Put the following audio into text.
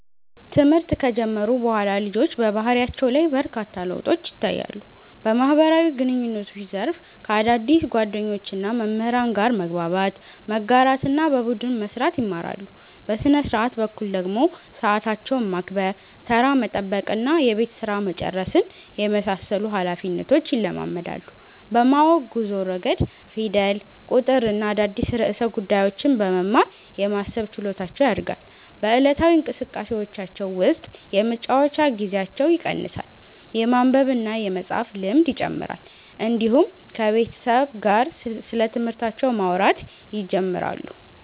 ትምህርት ከጀመሩ በኋላ ልጆች በባህሪያቸው ላይ በርካታ ለውጦች ይታያሉ። በማህበራዊ ግንኙነት ዘርፍ ከአዳዲስ ጓደኞችና መምህራን ጋር መግባባት፣ መጋራትና በቡድን መስራት ይማራሉ። በሥነ-ሥርዓት በኩል ደግሞ ሰዓታቸውን ማክበር፣ ተራ መጠበቅና የቤት ሥራ መጨረስን የመሳሰሉ ኃላፊነቶች ይለማመዳሉ። በማወቅ ጉዞ ረገድ ፊደል፣ ቁጥርና አዳዲስ ርዕሰ ጉዳዮችን በመማር የማሰብ ችሎታቸው ያድጋል። በዕለታዊ እንቅስቃሴዎቻቸው ውስጥ የመጫወቻ ጊዜያቸው ይቀንሳል፣ የማንበብና የመፃፍ ልምድ ይጨምራል፣ እንዲሁም ከቤተሰብ ጋር ስለትምህርታቸው ማውራት ይጀምራሉ።